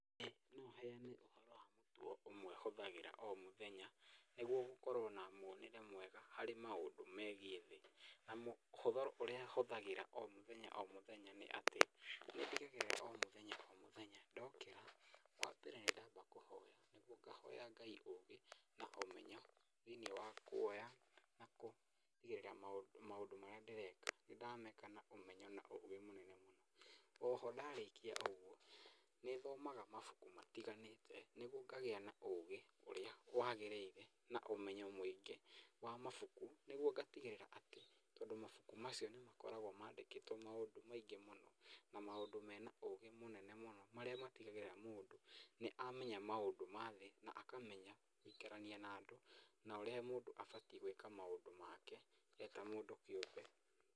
ĩĩ no heane ũhoro wa mũtugo ũmwe hũthagĩra o mũthenya nĩguo gũkorwo na muonere mwega harĩ maũndũ megiĩ thĩ. Na mũtugo ũrĩa hũthagĩra o mũthenya o mũthenya nĩ atĩ ,nĩ ndigagĩrĩra omũthenya o muthenya, ndokĩra wa mbere nĩ ndamba kũhoya nĩguo ngahoya Ngai ũgĩ na ũmenyo thĩiniĩ wa kuoya na kũtigĩrĩra maũndũ marĩa ndĩreka, nĩ ndĩrameka na ũmenyo na ũgĩ mũnene mũno, onho ndarĩkia ũguo nĩ thomaga mabuku matiganĩte nĩguo ngagĩa na ũgĩ ũrĩa wagĩrĩire na ũmenyo mũingĩ wa mabuku nĩguo ngatigĩrĩra atĩ tondũ mabuku macio nĩ makoragwo mandĩkĩtwo maũndũ maingĩ mũno, na maũndũ mena ũgĩ mũnene mũno , marĩa matigagĩrĩra mũndũ nĩ amenya maũndũ ma thĩ, na akamenya gũikarania na andũ, na ũrĩa mũndũ abatiĩ gwĩka maũndũ make e ta mũndũ kĩũmbe.